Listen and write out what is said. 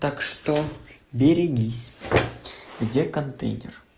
так что берегись где контейнер